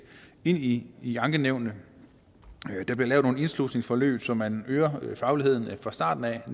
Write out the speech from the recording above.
ind i ankenævnene der bliver lavet nogle indslusningsforløb så man øger fagligheden fra starten af og